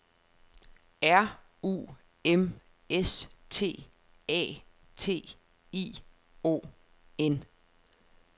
R U M S T A T I O N